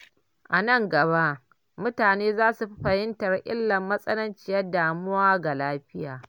A nan gaba, mutane za su fi fahimtar illar matsananciyar damuwa ga lafiya.